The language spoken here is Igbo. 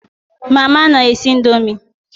Mama n'esi ndomi